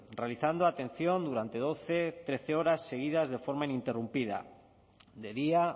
realizando atención durante doce trece horas seguidas de forma interrumpida de día